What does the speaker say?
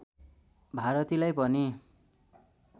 भारतीलाई पनि